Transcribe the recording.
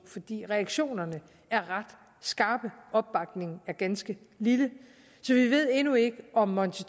fordi reaktionerne er ret skarpe og opbakningen ganske lille så vi ved endnu ikke om monti